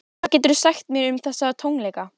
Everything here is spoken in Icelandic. Hvað geturðu sagt mér um þessa tónleika?